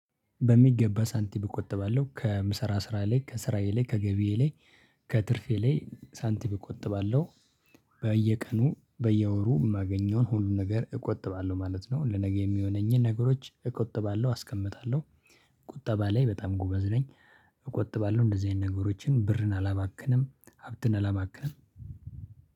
በሚገባ ሳንቲም እቆጥባለሁ ከምስራ ስራ ላይ ከስራዬ ላይ ከገቢዬ ላይ ከትርፌ ላይ ሳንቲም እቆጥባለሁ። በየቀኑ በየወሩ የማገኘውን ሁሉን ነገር እቆጥባለሁ ማለት ነው። ለነገ የሚሆነኝን ነገሮች እቆጥባለሁ አስቀምጣለሁ። ቁጠባ ላይ በጣም ጎበዝ ነኝ። እቆጥባለሁ እንደዚህ አይነት ነገሮችን ብርን አላባክንም ሀብትን አላባክንም።